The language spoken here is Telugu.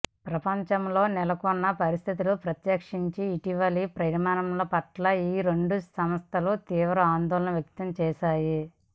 ప్రపంచంలో నెలకొన్న పరిస్థితులు ప్రత్యేకించి ఇటీవలి పరిణామాల పట్ల ఈ రెండు సంస్థలు తీవ్ర ఆందోళన వ్యక్తం చేశాయి